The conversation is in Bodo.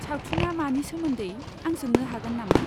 सावथुनआ मानि सोमोन्दै, आं सोंनो हागोन नामा?